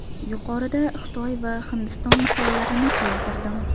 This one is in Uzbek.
Yuqorida Xitoy va Hindiston misollarini keltirdim.